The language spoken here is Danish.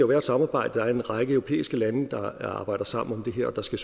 være et samarbejde der er en række europæiske lande der arbejder sammen om det her og der skal